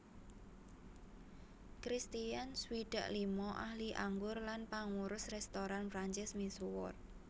Kristian swidak lima ahli anggur lan pangurus rèstoran Prancis misuwur